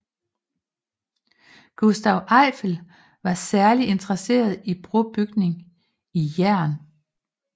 Gustave Eiffel var særligt interesseret i brobygning i jern